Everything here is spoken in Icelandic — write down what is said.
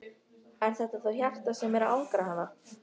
Er þetta þá hjartað sem er að angra hana?